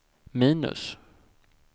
minus